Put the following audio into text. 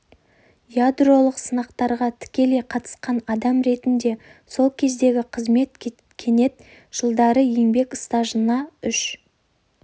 ядролық сынақтарға тікелей қатысқан адам ретінде сол кездегі қызмет кетен жылдары еңбек стажына үш